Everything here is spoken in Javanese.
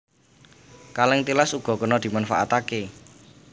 Kalèng tilas uga kena dimanfaatké